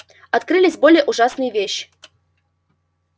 открылись более ужасные вещи